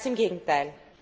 Ganz im Gegenteil!